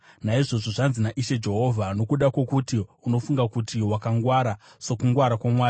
“ ‘Naizvozvo zvanzi naIshe Jehovha: “ ‘Nokuti unofunga kuti wakangwara, sokungwara kwamwari,